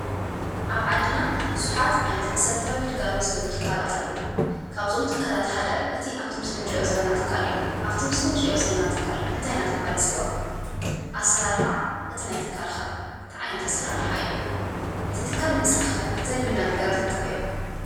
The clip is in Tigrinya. ኣብ ዓድና ቡዙሓት ዓይነት መሰራተዊ ግልጋሎት ዝህቡ ትካላት ኣለዉ፡፡ ካብዞም ትካላት ሓደ እቲ ኣብቲ ምስሊ እንሪኦ ዘለና ትካል እዩ፡፡ ኣፍቲ ምስሊ እንሪኦ ዘለና ትካል እንታይ እንዳተባሃለ ይፅዋዕ? ኣሰራርሓ ናይቲ ትካል ኸ እንታይ ዓይነት ኣሰራርሓ እዩ? እቲ ትካል ንምስራሕ ኸ ዘድልዩና ነገራት እንታይ እዮም?